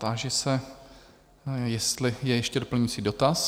Táži se, jestli je ještě doplňující dotaz?